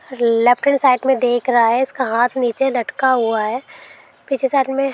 left hand side में देख रहा है इसका हाथ नीचे लटका हुआ है पीछे साइड में --